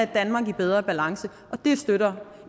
danmark i bedre balance og det støtter